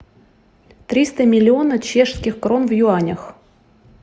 триста миллиона чешских крон в юанях